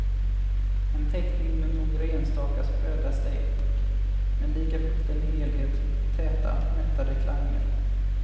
En teckning med några enstaka spröda streck, men likafullt en helhet med täta, mättade klanger.